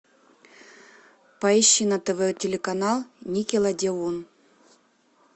поищи на тв телеканал никелодеон